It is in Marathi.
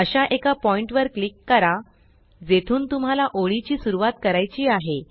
अशा एका पॉइण्ट वर क्लिक करा जेथून तुम्हाला ओळीची सुरवात करायची आहे